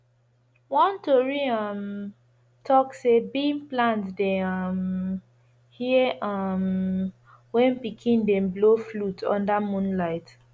one tori um talk say bean plant dey um hear um when pikin dem blow flute under moonlight